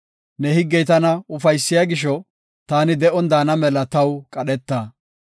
Ne higgey tana ufaysiya gisho, taani de7on daana mela taw qadheta.